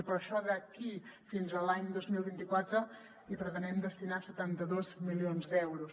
i per això d’aquí fins a l’any dos mil vint quatre hi pretenem destinar setanta dos milions d’euros